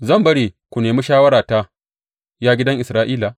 Zan bari ku nemi shawarata, ya gidan Isra’ila?